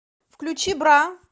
включи бра